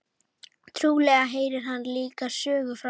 Trúlega heyrir hann líka sögu frá